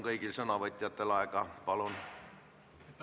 Kõigil sõnavõtjatel on aega 5 + 3 minutit.